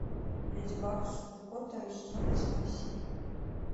леди баг и супер кот второй сезон восьмая серия